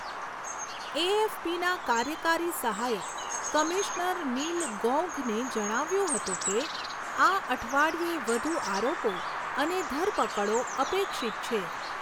એએફપીના કાર્યકારી સહાયક commissioner Neil ગૌઘને જણાવ્યુંં હતું કે આ અઠવાડિયે વધુ આરોપો અને ધરપકડો અપેક્ષિત છે.